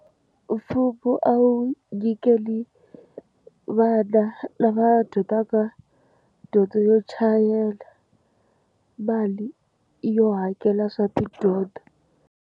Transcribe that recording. Mfumo a wu nyikeli vana lava dyondzaka dyondzo yo chayela mali yo hakela swa tidyondzo.